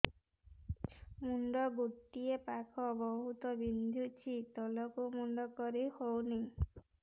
ମୁଣ୍ଡ ଗୋଟିଏ ପାଖ ବହୁତୁ ବିନ୍ଧୁଛି ତଳକୁ ମୁଣ୍ଡ କରି ହଉନି